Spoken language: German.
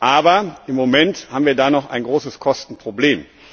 Aber im Moment haben wir da noch ein großes Kostenproblem.